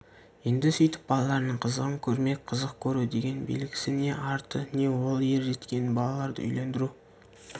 енді сүйтіп балаларының қызығын көрмек қызық көру дегеннің белгісі не арты не ол ер жеткен балаларды үйлендіру